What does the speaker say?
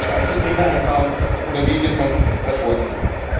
Müssen die nun zwei Systeme einbauen, oder wie wird man da vorgehen?